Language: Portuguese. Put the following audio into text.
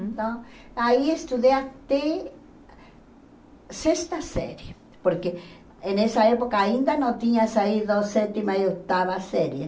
Então, aí estudei até sexta série, porque em nessa época ainda não tinha saído a sétima e oitava série.